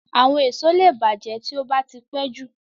Àwọn èso lẹ bàjẹ́ tí ó bá tí pẹ́jù